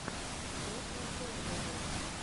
дотатэвэру